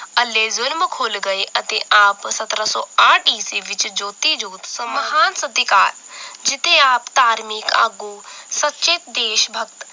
ਅੱਲੇ ਜ਼ੁਰਮ ਖੁੱਲ ਗਏ ਅਤੇ ਆਪ ਸੱਤਰਾਂ ਸੌ ਆਠ ਈਸਵੀ ਵਿਚ ਜੋਤੀ ਜੋਤ ਸਮਾਂ ਮਹਾਨ ਸਤਿਕਾਰ ਜਿਥੇ ਆਪ ਧਾਰਮਿਕ ਆਗੂ ਸਚੇ ਦੇਸ਼ ਭਗਤ